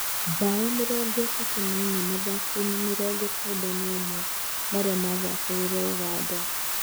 Bao mĩrongo ĩtatũ na ĩnya mathako-inĩ mĩrongo kenda na ũmwe marĩa mathakagĩrwo Ũganda.